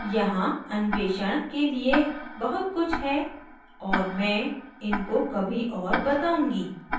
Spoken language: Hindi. यहाँ अन्वेषण के लिए बहुत कुछ है और मैं इनको कभी और बताउंगी